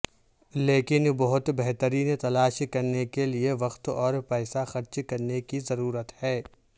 لیکن بہت بہترین تلاش کرنے کے لئے وقت اور پیسہ خرچ کرنے کی ضرورت ہے